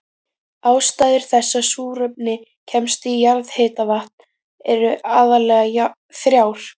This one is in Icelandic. Ástæður þess að súrefni kemst í jarðhitavatn eru aðallega þrjár.